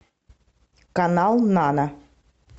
канал нана